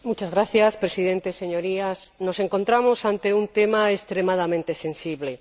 Señor Presidente, Señorías, nos encontramos ante un tema extremadamente sensible.